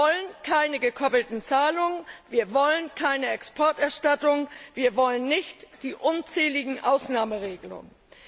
Wir wollen keine gekoppelten Zahlungen, wir wollen keine Exporterstattung, wir wollen nicht die unzähligen Ausnahmeregelungen.